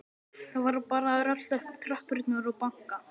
Það var bara að rölta upp tröppurnar og banka.